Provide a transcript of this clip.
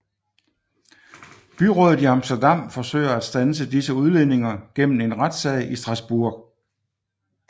Byrådet i Amsterdam forsøger at standse disse udledninger gennem en retssag i Strasbourg